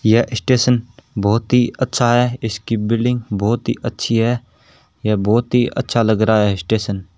यह स्टेशन बहोत ही अच्छा है इसकी बिल्डिंग बहोत ही अच्छी है या बहोत ही अच्छा लग रहा है स्टेशन --